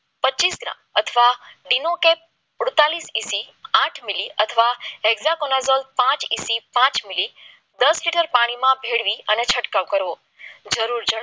પચીસ ગ્રામ અથવા ડિમોટેડ સુડતાળીસ એસી આઠ મિલી અથવા પાંચ પાંચ મિલી દસ લીટર પાણીમાં ભેળવી અને છંટકાવ કરવો જરૂર જણાવો